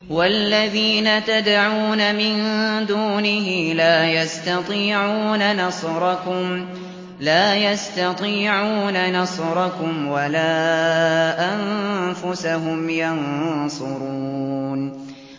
وَالَّذِينَ تَدْعُونَ مِن دُونِهِ لَا يَسْتَطِيعُونَ نَصْرَكُمْ وَلَا أَنفُسَهُمْ يَنصُرُونَ